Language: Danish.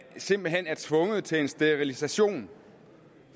simpelt hen er tvunget til en sterilisation